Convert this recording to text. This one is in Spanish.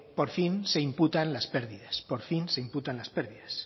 por fin se imputan las pérdidas por fin se imputan las pérdidas